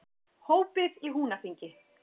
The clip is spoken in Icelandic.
Hópið í Húnaþingi.